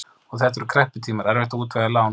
Og þetta voru krepputímar, erfitt að útvega lán.